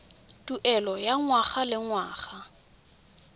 tuelo ya ngwaga le ngwaga